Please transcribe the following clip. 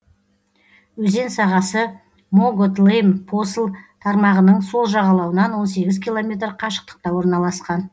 өзен сағасы могот лейм посл тармағының сол жағалауынан он сегіз километр қашықтықта орналасқан